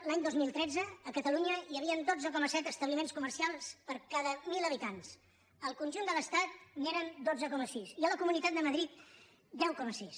l’any dos mil tretze a catalunya hi havien dotze coma set establiments comercials per cada mil habitants al conjunt de l’estat eren dotze coma sis i a la comunitat de madrid deu coma sis